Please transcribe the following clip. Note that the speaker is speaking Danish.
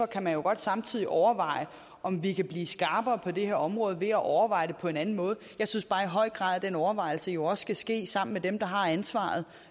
kan jo godt samtidig overveje om vi kan blive skarpere på det her område ved at overveje det på en anden måde jeg synes bare i høj grad at den overvejelse jo også skal ske sammen med dem der har ansvaret